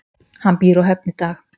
Hann býr á Höfn í dag.